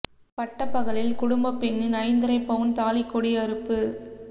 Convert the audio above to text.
பட்டப்பகலில் குடும்பப் பெண்ணின் ஐந்தரைப் பவுண் தாலிக் கொடி அறுப்பு